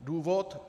Důvod?